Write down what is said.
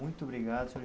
Muito obrigado, Sr.